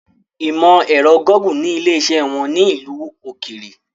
Ìmọ ẹ̀rọ Gúgù ni ilé iṣẹ́ wọn ní ìlú òkèèrè